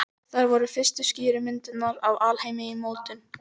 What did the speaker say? Þær voru fyrstu skýru myndirnar af alheimi í mótun.